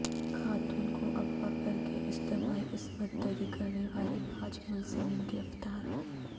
خاتون کو اغوا کرکے اجتماعی عصمت دری کرنے والے پانچ ملزمین گرفتار